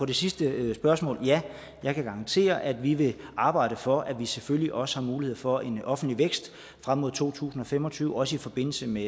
det sidste spørgsmål ja jeg kan garantere at vi vil arbejde for at vi selvfølgelig også har mulighed for en offentlig vækst frem mod to tusind og fem og tyve også i forbindelse med